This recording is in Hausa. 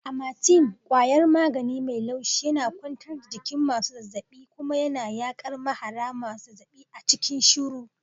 Amatem kwayar magani mai laushi yana kwantar da jikin masu zazzaɓi kuma yana yaƙar mahara masu zazzaɓi a cikin shiru.